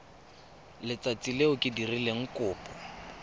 letsatsi le o dirileng kopo